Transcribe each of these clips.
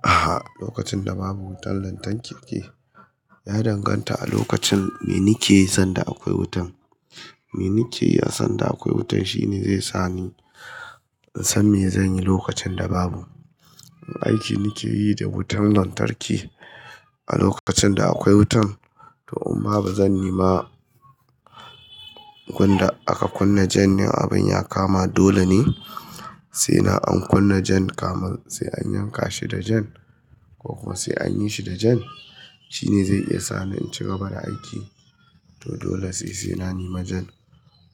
A'a, lokacin da babu wutan lantarki ya danganta a lokacin me nike yi sanda akwai wutan. Me nike yi a sanda akwai wutan shine zai sa ni in san me zan yi lokacin da babu. Aiki nike yi da wutan lantarki a lokacin da akwai wutan to amma ba zan yi ma kun da aka kunna jan in abin ya kama dole ne sai na an kunna jan kamar sai an yanka shi da jan ko kuwa sai an yi shi da jan. Shi ne zai iya sa ni in cigaba da aiki to dole sai sai na nema jan.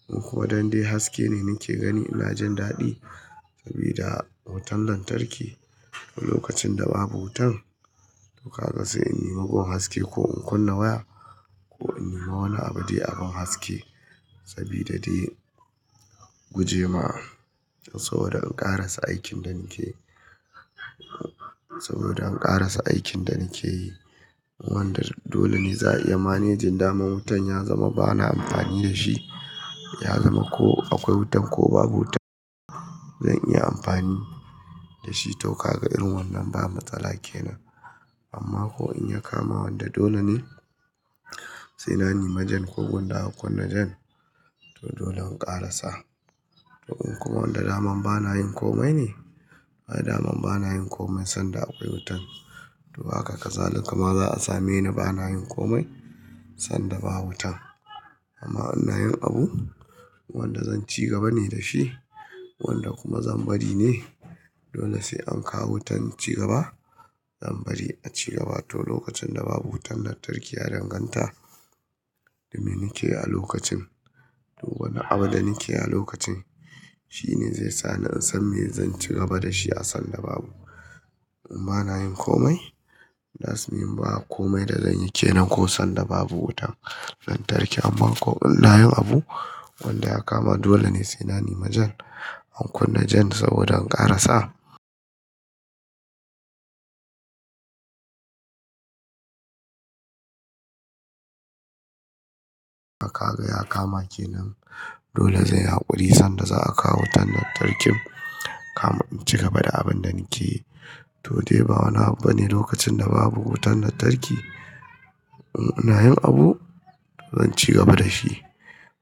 In kuma don dai haske ne nike gani ina jin daɗi sabida wutan lantarki. To lokacin da babu wutan to kaga sai in nima gun haske ko in kunna waya ko in nima wani abu dai abin haske sabida dai gujema saboda in karasa aikin da nike, saboda in karasa aikin da nike yi. Wanda dole ne za a iya manejin dama wutan ya zama ba na amfani da shi, ya zama ko akwai wutan ko babu wutan zan iya amfani da shi. To ka ga irin wannan bana matsala kenan. Amma ko in ya kama wanda dole ne sai na nema jan ko gunda aka kunna jan to dole in ƙarasa. To in kuma wanda daman bana yin komai ne, ai daman bana yin komai sanda akwai wutan to haka kazali kama za a same ni bana yin komai sanda ba wutan. Amma ina yin abu wanda zan cigaba ne da shi wanda kuma zan bari ne dole sai an kawo wutan incigaba zan bari a cigaba. To lokacin da babu wutan lantarki ya danganta da me nike yi a lokacin. To wani abu da nike yi a lokacin shine zai sa ni in san me zan cigaba da shi a sanda babu. In ba na yin komai, that's mean ba komai da zan yike nan ko sanda babu wutan lantarki. Amma ko ina yin abu wanda ya kama dole ne sai na nema jan, an kunna jan saboda in karasa. To ka ga ya kama kenan dole zan yi haƙuri sanda za a kawo wutan lantarkin kamun in cigaba da abin da nike yi. To dai ba wani abu bane lokacin da babu wutan lantarki. In ina yin abu zan cigaba da shi.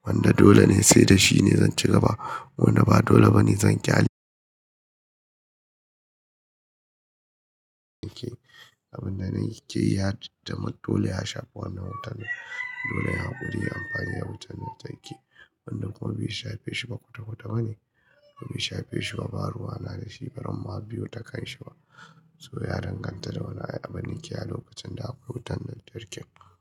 Wanda dole ne sai da shi ne zan cigaba. Wanda ba dole bane zan ƙyale. Na ke abin da nike yi ya zama dole ya shafa wannan watan. Dole ya haƙuri ya amfani da wutan lantarki. Wanna. Kuma bai shafe shi ba kwata kwata. Abin shafe shi ba, ba ruwa na da shi, bari ma biyu ta kan shi ba. To ya danganta da wani abin na ke yi a lokacin da akwai wutan lantarki.